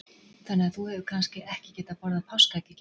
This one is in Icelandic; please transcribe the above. Þannig að þú hefur kannski ekki getað borðað páskaegg í gær?